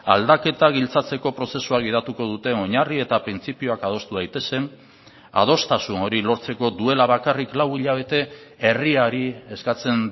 aldaketa giltzatzeko prozesua gidatuko duten oinarri eta printzipioak adostu daitezen adostasun hori lortzeko duela bakarrik lau hilabete herriari eskatzen